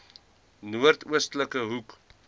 noord oostelike hoek